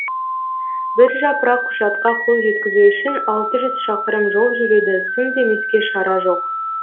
бір жапырақ құжатқа қол жеткізу үшін алты жүз шақырым жол жүруді сын демеске шара жоқ